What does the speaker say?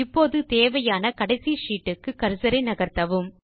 இப்போது தேவையான கடைசி ஷீட் க்கு கர்சர் ஐ நகர்த்தவும்